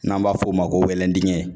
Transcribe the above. N'an b'a f'o ma ko wɛlɛn digɛn